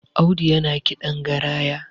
Audu yana kiɗan garaya